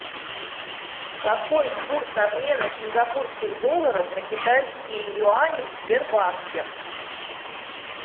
какой курс обмена сингапурских долларов на китайские юани в сбербанке